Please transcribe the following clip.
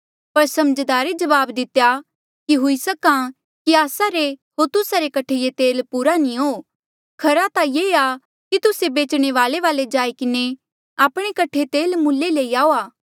पर समझदारे जवाब दितेया कि हुई सक्हा कि आस्सा रे होर तुस्सा रे कठे ये तेल पूरा नी हो खरा ता ये आ कि तुस्से बेचणे वाल्ऐ वाले जाई किन्हें आपणे कठे तेल मूल्ले लई आऊआ